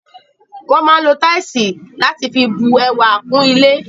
Wọ́n máa ń lo táìsì láti fi bu ẹwà kún ilé.